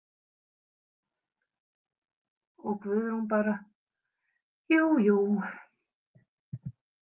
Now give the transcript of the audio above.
Og Guðrún bara: Jú, jú.